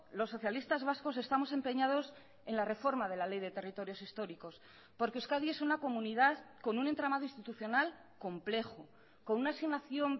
los socialistas vascos estamos empeñados en la reforma de la ley de territorios históricos porque euskadi es una comunidad con un entramado institucional complejo con una asignación